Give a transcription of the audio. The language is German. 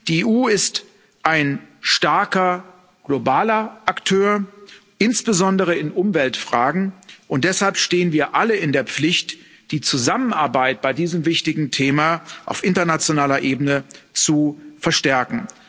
Die EU ist ein starker globaler Akteur, insbesondere in Umweltfragen, und deshalb stehen wir alle in der Pflicht, die Zusammenarbeit bei diesem wichtigen Thema auf internationaler Ebene zu verstärken.